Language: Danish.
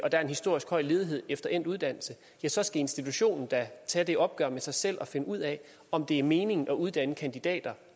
der er historisk høj ledighed efter endt uddannelse så skal institutionen da tage et opgør med sig selv og finde ud af om det giver mening at uddanne kandidater